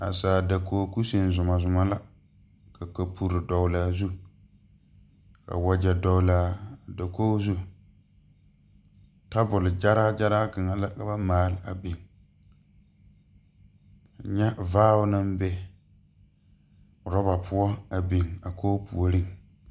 Naasaal dakoge kusine zumɔzumɔ la ka kapurre dɔglaa zu ka wagyɛ dɔglaa dakoge zu tabole gyɛraa gyɛraa kaŋa la ka ba maale a biŋ nyɛ vaao naŋ be rɔba poɔ a biŋ a koge puoriŋ.